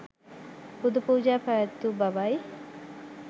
පුද පූජා පැවැත්වූ බවයි.